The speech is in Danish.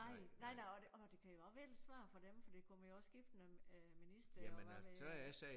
Nej nej nej og det og det kan jo og være lidt svært for dem for der kommer jo også skiftende minister og hvad ved jeg